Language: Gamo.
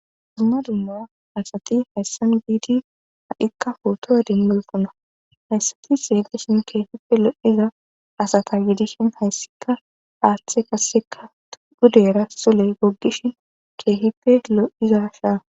Dumma dumma asati hayssan biidi ha'ikka futoa dimmulfuna hayssati seedeshin keehipe lo'iza asata gidishin hayssika aaththe kasseka gudera sule goggishin keehife lo'iza shaa.